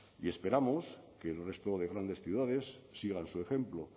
y esperamos que el resto de grandes ciudades sigan su ejemplo